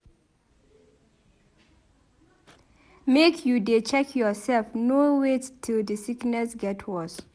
Make you dey check yoursef no wait till di sickness get worse.